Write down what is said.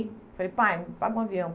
Falei, pai, me paga um avião.